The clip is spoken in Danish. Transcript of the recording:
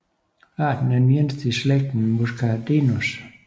Arten er den eneste i slægten Muscardinus